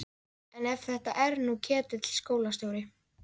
En ef þetta er nú Ketill skólastjóri!